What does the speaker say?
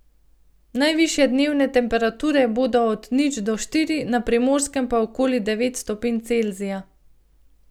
Najvišje dnevne temperature bodo od nič do štiri, na Primorskem pa okoli devet stopinj Celzija.